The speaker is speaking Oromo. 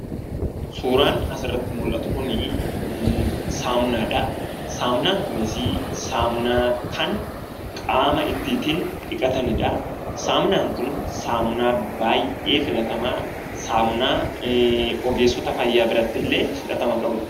Suuraan asirratti mullatu kun saamunaadha. Saamunaan kunisii saamunaa kan qaama ittiitiin dhiqatanidhaa. Saamunaan kun saamunaa baay'ee filatamaa, saamunaa ogeessota fayyaa birattillee fudhatama qabudha.